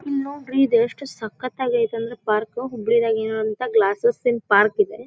ಇಲ್ಲಿ ನೋಡ್ರಿ ಈದ್ ಎಷ್ಟ ಸಕ್ಕತಾಗಿ ಐತ್ ಅಂದ್ರೆ ಪಾರ್ಕ್ ಹುಬ್ಳಿ ದಗ್ ಇರೋವಂತ ಗ್ಲಾಸಿನ್ ಪಾರ್ಕ್ ಇದೆ.